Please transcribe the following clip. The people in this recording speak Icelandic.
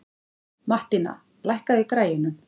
Mattína, lækkaðu í græjunum.